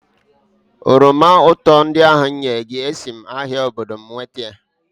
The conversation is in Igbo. oroma ụtọ ndị ahụ m nyere gị, esi m ahịa obodo m nweta ya